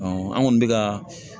an kɔni bɛ ka